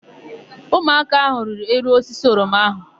Ụmụaka áhụ̀ rịrị elu osisi oroma áhụ̀.